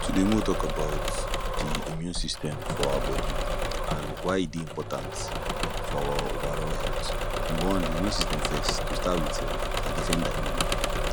Today mek we tok about de immune system for our body an why e dey important for our overall healt number one de immune system first to start with sef na defender him be